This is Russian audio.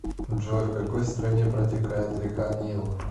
джой в какой стране протекает река нил